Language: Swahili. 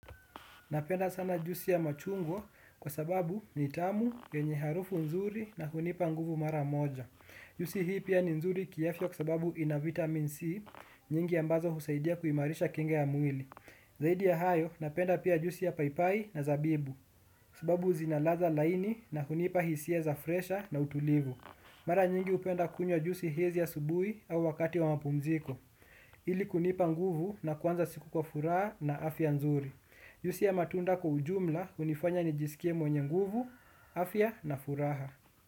Napenda sana juisi ya machungwa kwa sababu ni tamu, yenye harufu nzuri na hunipa nguvu mara moja. Juisi hii pia ni nzuri kiafya kwa sababu ina vitamin C nyingi ambazo husaidia kuimarisha kinga ya mwili. Zaidi ya hayo, napenda pia juisi ya papai na zabibu, kwa sababu zina ladha laini na hunipa hisia za fresha na utulivu. Mara nyingi upenda kunywa juisi hizi asubuhi au wakati wa mapumziko. Ili kunipa nguvu na kuanza siku kwa furaha na afya nzuri. Juisi ya matunda kwa ujumla, unifanya nijisikie mwenye nguvu, afya na furaha.